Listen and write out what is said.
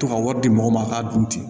To ka wari di mɔgɔ ma k'a dun ten